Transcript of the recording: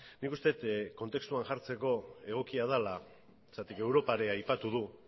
nik uste dut kontestuan jartzeko egokia dela zergatik europa ere aipatu du